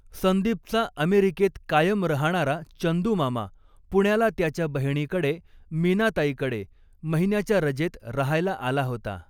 संदीपचा अमेरीकेत कायम रहाणारा चंदूमामा पुण्याला त्याच्या बहिणीकडे मीनाताईकडे महिन्याच्या रजेत रहायला आला होता.